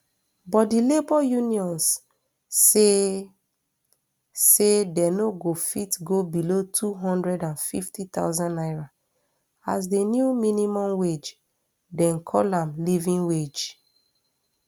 but di labour unions say say dey no go fit go below two hundred and fifty thousand naira as di new minimum wage dem call am living wage